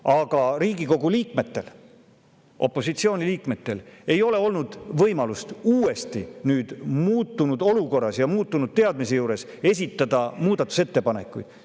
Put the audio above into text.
Aga Riigikogu liikmetel – opositsiooni liikmetel – ei ole olnud võimalust uuesti, muutunud olukorras ja muutunud teadmise juures, muudatusettepanekuid esitada.